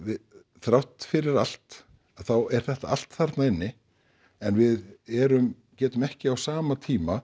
þrátt fyrir allt þá er þetta allt þarna inni en við erum getum ekki á sama tíma